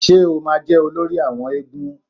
Ṣé o ma jẹ́ olórí àwọn éégún?